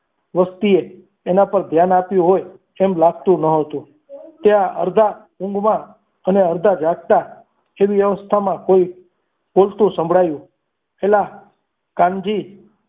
વસ્તીએ તેના પર ધ્યાન આપ્યું હોય તેમ લાગતું ન હતું ત્યાં અડધા ઊંઘમાં અને અડધા જાગતા વ્યવસ્થામાં કોઈ બોલતું સંભળાયું છેલ્લા કાનજી